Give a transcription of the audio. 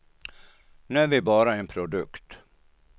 Nu är vi bara en produkt.